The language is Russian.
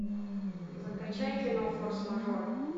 закачай кино форс мажоры